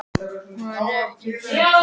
Kendra, ekki fórstu með þeim?